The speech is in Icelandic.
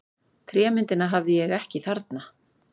Trémyndina hafði ég ekki þarna.